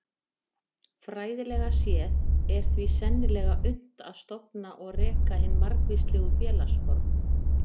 Fræðilega séð er því sennilega unnt að stofna og reka hin margvíslegu félagsform.